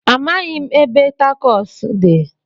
Amaghị m ebe takos dị.